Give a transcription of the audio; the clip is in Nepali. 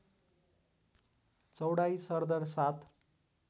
चौडाइ सरदर ७